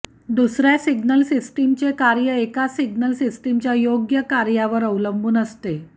दुसर्या सिग्नल सिस्टीमचे कार्य एका सिग्नल सिस्टिमच्या योग्य कार्यावर अवलंबून असते